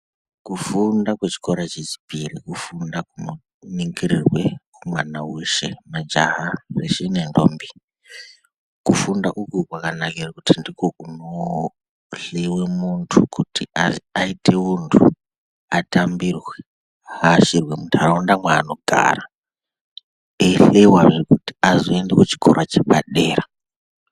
Kufunda kwechikora chechipiri kufunda kunoningirirwe mwana weshe majaha zveshe ne ndombi. Kufunda uku kwakanakira kuti ndiko kunohleyiwa muntu kuti ayite untu atambirwe aashirwe muntaraunda yaanogara eihleyiwazve kuti azoenda kuchikora chepa dera.